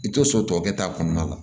I tɛ so tɔ kɛ ta kɔnɔna la